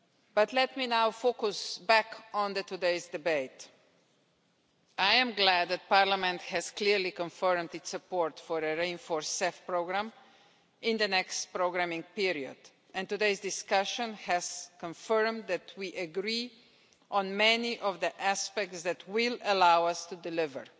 But let me now focus back on today's debate. I am glad that Parliament has clearly confirmed its support for a reinforced CEF programme in the next programing period, and today's discussion has confirmed that we agree on many of the aspects that will allow us to deliver.